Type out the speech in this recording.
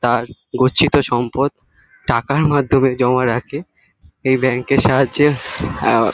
তার গচ্ছিত সম্পদ টাকার মাধ্যমে জমা রাখে এই ব্যাঙ্ক এর সাহায্যের আঁ--